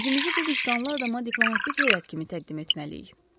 Özümüzü bu vicdanlı adama diplomatik heyət kimi təqdim etməliyik.